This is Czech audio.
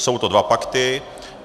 Jsou to dva pakty.